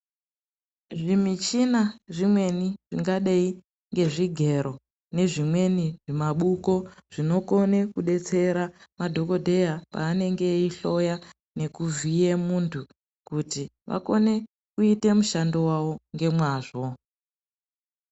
Zvimichina zvimweni zvingadei ngezvigero nezvimweni zvimabuko zvinokone kudetsera madhokodheya panenge veihloya nekuvhiye muntu kuti akone kuite mushando wavo ngemwazvo.